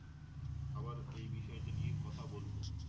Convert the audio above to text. আবার এই বিষয়টা নিয়ে কথা বলবো।